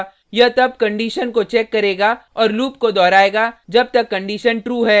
यह तब कंडिशन को चेक करेगा और लूप को दोहरायेगा जब तक कंडिशन true है